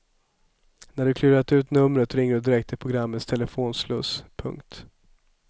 När du klurat ut numret ringer du direkt till programmets telefonsluss. punkt